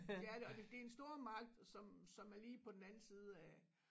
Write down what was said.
Det er det og det en stormagt som som er lige på den anden side af